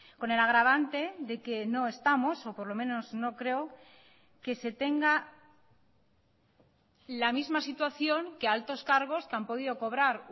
con el agravante de que no estamos o por lo menos no creo que se tenga la misma situación que altos cargos que han podido cobrar